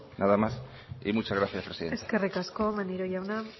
nada más y muchas gracias presidenta eskerrik asko maneiro jauna